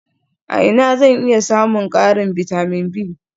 A ina zan iya samun ƙarin bitamin B?